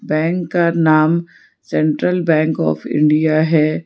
Bank का नाम central bank of India है।